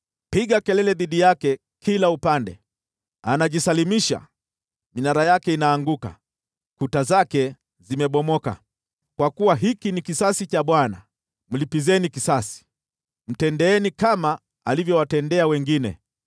Piga kelele dhidi yake kila upande! Anajisalimisha, minara yake inaanguka, kuta zake zimebomoka. Kwa kuwa hiki ni kisasi cha Bwana , mlipizeni kisasi; mtendeeni kama alivyowatendea wengine.